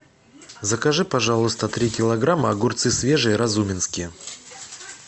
закажи пожалуйста три килограмма огурцы свежие разуменские